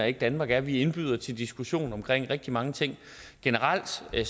ikke danmark er vi indbyder til diskussion omkring rigtig mange ting generelt som jeg